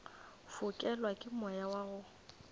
fokelwa ke moya wa go